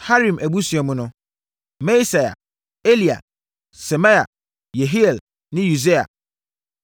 Harim abusua mu no: Maaseia, Elia, Semaia, Yehiel ne Usia.